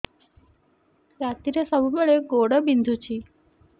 ରାତିରେ ସବୁବେଳେ ଗୋଡ ବିନ୍ଧୁଛି